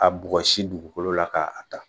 Ka bugɔsi dugukolo la k'a da.